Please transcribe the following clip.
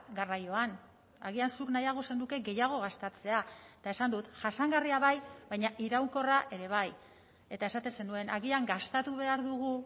garraioan agian zuk nahiago zenuke gehiago gastatzea eta esan dut jasangarria bai baina iraunkorra ere bai eta esaten zenuen agian gastatu behar dugu